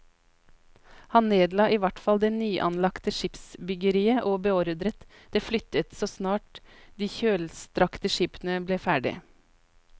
Han nedla i hvert fall det nyanlagte skipsbyggeriet og beordret det flyttet så snart de kjølstrakte skipene ble ferdige.